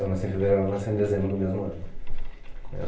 Eu nasci em fevereiro, ela nasceu em dezembro do mesmo ano.